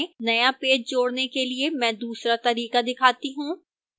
नया पेज जोड़ने के लिए मैं दूसरा तरीका दिखाती हूं